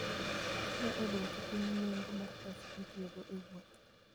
Okonyo e dwoko piny nengo mar pesa mitiyogo e wuoth.